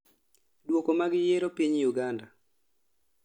duoko mag yiero piny Uganda